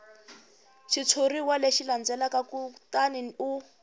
xitshuriwa lexi landzelaka kutani u